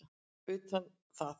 utan það.